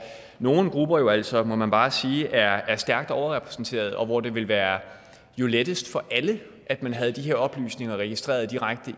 nogle grupper jo altså må man bare sige er stærkt overrepræsenteret og hvor det jo ville være lettest for alle at man havde de her oplysninger registreret direkte